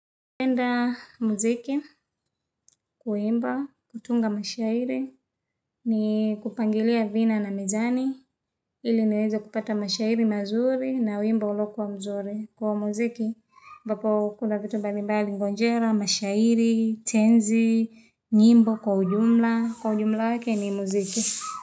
Napenda muziki, kuimba, kutunga mashahiri, ni kupangilia vina na mizani ili niweza kupata mashairi mazuri na wimbo ulokuwa mzuri. Kwa muziki, vapo kuna vitu mbalimbali ngonjera, mashairi, tenzi, nyimbo, kwa ujumla, kwa ujumla wake ni muziki.